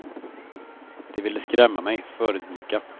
De ville skrämma mig, förödmjuka.